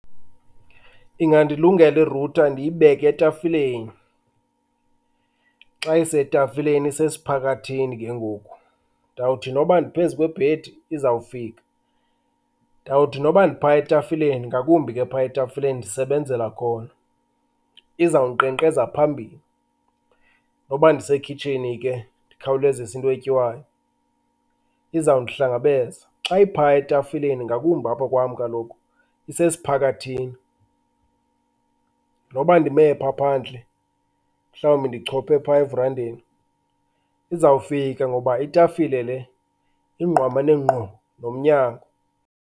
Ingandilungela i-router ndiyibeke etafileni. Xa isetafileni isesiphakathini ke ngoku, ndawuthi noba ndiphezu kwebhedi izawufika. Ndawuthi noba ndiphaya etafileni ngakumbi ke phaya etafileni ndisebenzela khona, izawunkqenkqeza phambili. Noba ndisekhitshini ke ndikhawulezise into etyiwayo izawundihlangabeza. Xa iphaya etafileni ngakumbi apha kwam kaloku isesiphakathini, noba ndime pha phandle mhlawumbi ndichophe phaya verandini izawufika ngoba itafile le ingqamane ngqo nomnyango.